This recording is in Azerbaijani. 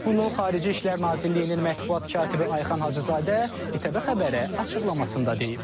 Bunu Xarici İşlər Nazirliyinin mətbuat katibi Ayxan Hacızadə İTV xəbərə açıqlamasında deyib.